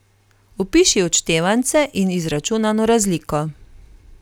Opiši odštevance in izračunano razliko.